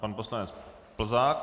Pan poslanec Plzák.